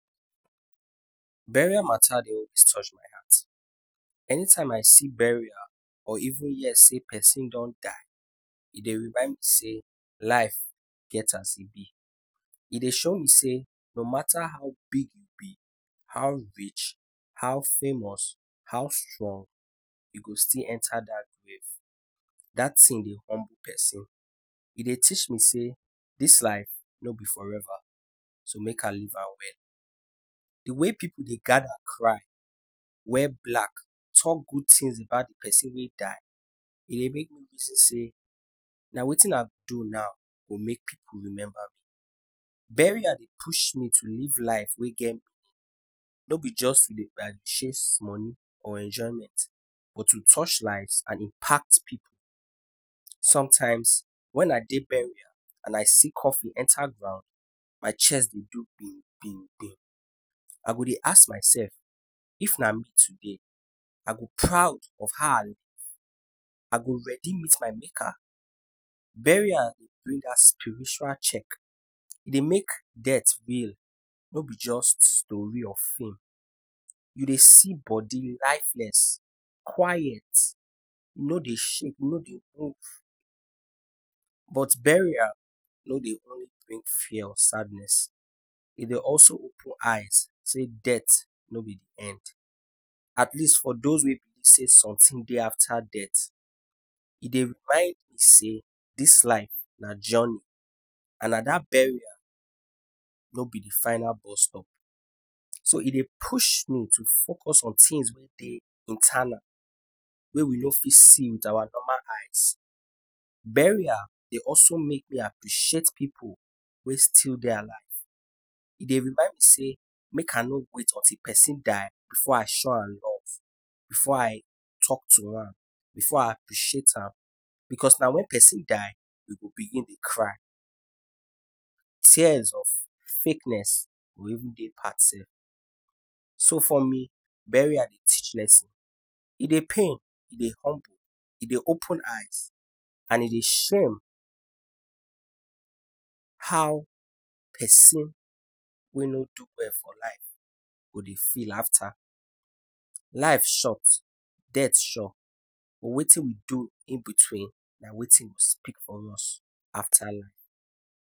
Burial mata dey always touch my heart, anytime I see burial or even hear sey persin don die e dey rmind me sey life get as e b, e dey show me sey no mata how big u b, how rich, how famous, how strong u go still enta dat grave, dat tin dey humble persin e dey teach me sey dis life no be forever so make I live am well. D way pipu dey gada cry wear black, talk good things about d persin wey die, e dey push me to live life wey get meaning, no b by sey to dey chase money and enjoyment, but to touch lives, sometimes if I go burial and I see coffin dey enta ground my heart go jus dey do bimbimbim, I go dey ask my self if na me today I go b proud of how I live, I go ready meet my maker, burial bring that spiritual check, e dey make sey death no b just story or film, u dey see body lifeless, quiet, e no dey shake no dey move, but burial no dey only bring fear or sadness e dey also open eye sey death no b d end, atleast for those wey believe sey something dey afta death, e dey remind me sey dis live na journey and na dat burial no b d final bustop, so e dey push me to focus on things wey dey internal wey we no fit see with awa normal eye. Burial dey also make me appreciate pipu wey still dey alive e dey remind me sey make I no wait until persin die before I show am love before I talk to am, before I appreciate am, because na wen persin die we go begin dey cry, tears of fakeness go even dey part sef but for me burial dey open eye, e dey teach, e dey open eye and e dey show how persin wey no do well for life go dey feel afta. Life short, death short but wetin we do in between na wetin go speak for us afta life.